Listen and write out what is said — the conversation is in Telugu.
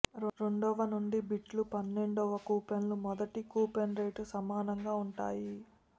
రెండవ నుండి బిడ్లు పన్నెండవ కూపన్లు మొదటి కూపన్ రేటు సమానంగా ఉంటాయి